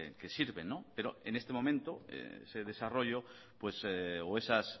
que sirven pero en este momento ese desarrollo o esas